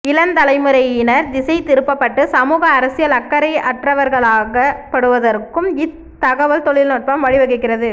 இளந் தலைமுறையினர் திசை திருப்பப்பட்டு சமூக அரசியல் அக்கறை அற்றவர்களாக்கப்படுவதற்கும் இத் தகவல் தொழில் நுட்பம் வழி வகுக்கிறது